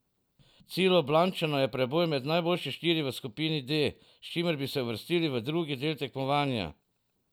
Cilj Ljubljančanov je preboj med najboljše štiri v skupini D, s čimer bi se uvrstili v drugi del tekmovanja.